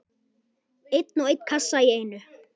Einn og einn kassa í einu.